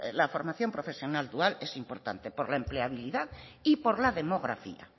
la formación profesional dual es importante por la empleabilidad y por la demografía